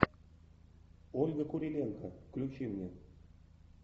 ольга куриленко включи мне